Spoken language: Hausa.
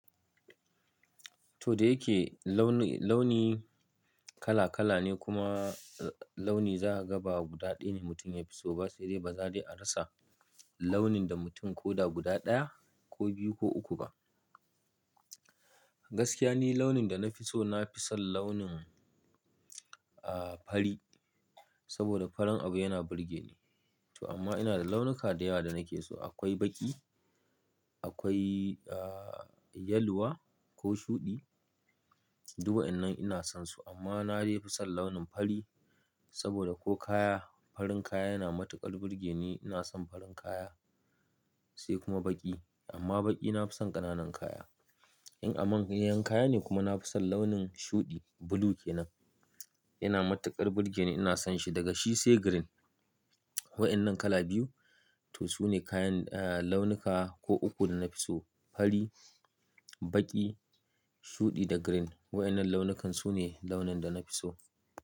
To da yake launi, launi kala kala ne kuma launi za a ga ba guda ɗaya ne mutum ya fi so ba sai dai ba za dai a rasa launin da mutum ko da guda ɗaya ko biyu ko uku ba. Gaskiya ni launin da na fi so na fi son launin, ah, fari saboda farin abu yana burge ni. To amma ina da launuka da yawa da nake so. Akwai baƙi, akwai, ah, yaluwa ko shuɗi. Duk wayannan ina son su amma na dai fi son launin fari saboda ko kaya, farin kaya yana matuƙar burge ni. Ina son farin kaya sai kuma baƙi. Amma baƙi na fi son ƙananan kaya. In a manyan kaya ne kuma na fi son launin shuɗi, blue ke nan. Yana matuƙar burge ni, ina son shi daga shi sai green. Waɗannan kala biyu to su ne kayan, ah, launuka ko uku da na fi so. Fari, baƙi, shuɗi da green. Waɗannan launukan su ne launin da na fi so.